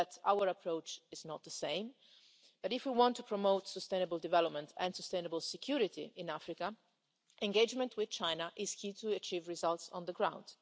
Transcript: Our approach is not the same, but if we want to promote sustainable development and sustainable security in Africa, engagement with China is key to achieving results on the ground.